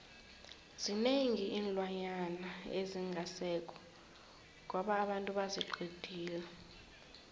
zinengi iinlwana ezingasekho ngoba abantu baziqedile